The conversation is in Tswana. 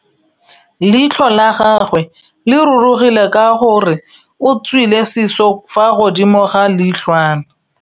Leitlhô la gagwe le rurugile ka gore o tswile sisô fa godimo ga leitlhwana.